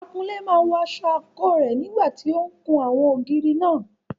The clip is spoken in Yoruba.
Akunlé náà wọ aṣọ àǹkóò rẹ̀ nígbà tí ó ń kun àwọn ògiri náà.